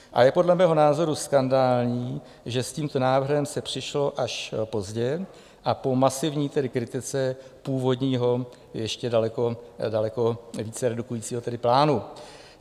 A je podle mého názoru skandální, že s tímto návrhem se přišlo až pozdě a po masivní kritice původního, ještě daleko více redukujícího plánu.